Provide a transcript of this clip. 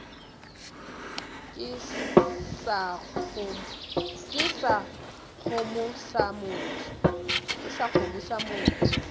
ke sa kgomo sa motho